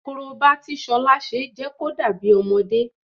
Korobá tí Ṣọlá ṣe jẹ́ kó dàbí ọmọdé